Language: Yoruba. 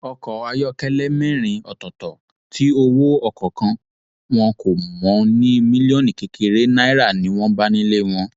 ọkọ ayọkẹlẹ mẹrin ọtọọtọ tí owó ọkọọkan wọn kò mọ ní mílíọnù kékeré náírà ni wọn bá nílé wọn